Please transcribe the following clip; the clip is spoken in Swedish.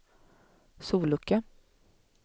sollucka